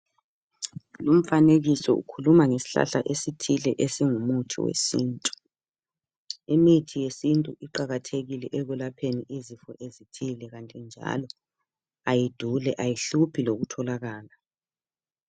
Lumfanekiso ukhuluma ngesihlahla esithile esingumuthi wesintu. Imithi yesintu iqakathekile ekulapheni izifo ezithile kanti njalo ayiduli ayihluphi lokutholakala.